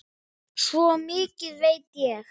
Svo mikið veit ég.